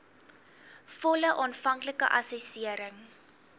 volle aanvanklike assessering